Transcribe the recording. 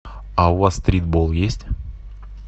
а у вас стритбол есть